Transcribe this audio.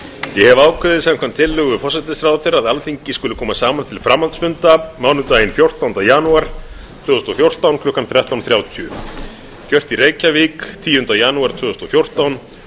ég hef ákveðið samkvæmt tillögu forsætisráðherra að alþingi skuli koma saman til framhaldsfunda mánudaginn fjórtánda janúar tvö þúsund og fjórtán klukkan þrettán þrjátíu gert í reykjavík tíunda janúar tvö þúsund og fjórtán